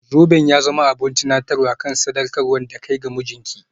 Zoben ya zama abin tunatarwa kan sadaukar da kai ga mijinki.